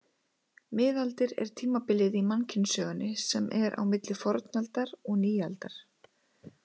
Miðaldir er tímabilið í mannkynssögunni sem er á milli fornaldar og nýaldar.